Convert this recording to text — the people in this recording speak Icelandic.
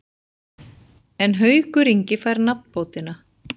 En Haukur Ingi fær nafnbótina.